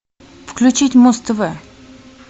включить муз тв